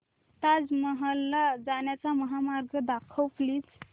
ताज महल ला जाण्याचा महामार्ग दाखव प्लीज